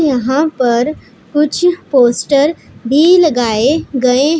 यहां पर कुछ पोस्टर भी लगाए गए--